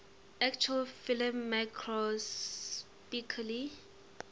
actual film microscopically